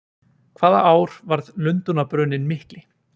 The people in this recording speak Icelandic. Hvaða ár varð Lundúnabruninn mikli?